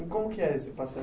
E como que é esse passeio?